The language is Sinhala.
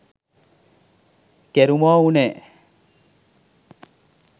කෙරුමො උනේ.